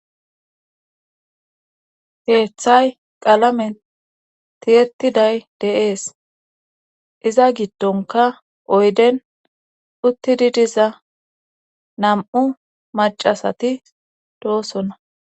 Heeththay qalame tiyettiday deees iza giddonka oyden uttidi diza nam'u macasati doosona.